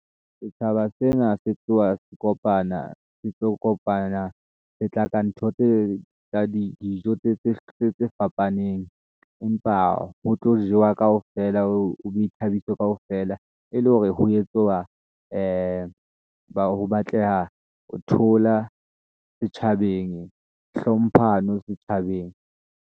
Setjhaba sena se tloha se kopana, se tlo kopana le tla ka ntho tse tsa di dijo tse fapaneng empa ho tlo jewa kaofela ho ithabiso kaofela e le hore ho etswa ho batleha ho thola setjhabeng hlomphano setjhabeng.